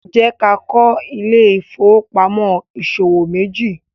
jẹ ká kọ Ile-ifowopamọ ìṣòwò meji